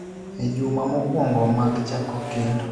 E juma mokwongo mag chako kendo,